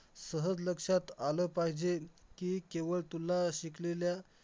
तर problem झाला की मला तो करता नाही आला आणि मी Topper म्हणलो तर मॅडम बोलल्या तुझा प्रयोग कुठे आहे त्यांनी